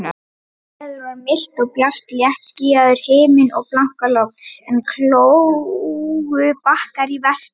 Veður var milt og bjart, léttskýjaður himinn og blankalogn, en kólgubakkar í vestri.